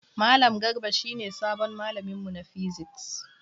Malam Garba shi ne sabon malamin mu na physics.